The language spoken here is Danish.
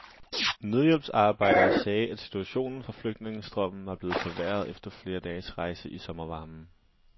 Nødhjælpsarbejdere sagde, at situationen for flygtningestrømmen var blevet forværret efter flere dages rejse i sommervarmen.